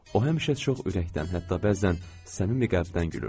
O həmişə çox ürəkdən, hətta bəzən səmimi qəlbdən gülürdü.